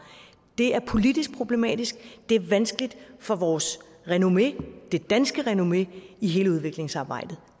det er politisk problematisk det er vanskeligt for vores renommé det danske renommé i hele udviklingsarbejdet